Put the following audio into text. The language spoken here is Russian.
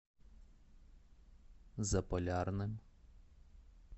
заполярным